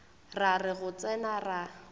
ra re go tsena ra